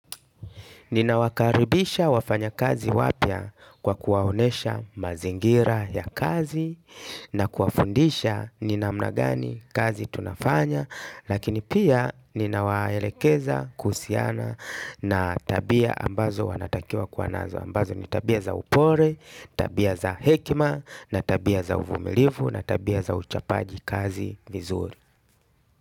Ninawakaribisha wafanyi kazi wapya kwa kuwaonyesha mazingira ya kazi na kuwafundisha ni namna gani kazi tunafanya lakini pia ninawaelekeza kuhusiana na tabia ambazo wanatakiwa kwa nazo ambazo ni tabia za upole, tabia za hekima na tabia za uvumilivu na tabia za uchapaji kazi vizuri.